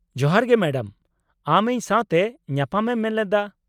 ᱡᱚᱦᱟᱨ ᱜᱮ ᱢᱮᱰᱟᱢ, ᱟᱢ ᱤᱧ ᱥᱟᱶᱛᱮ ᱧᱟᱯᱟᱢ ᱮᱢ ᱢᱮᱱᱞᱮᱫᱟ ?